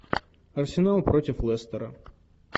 арсенал против лестера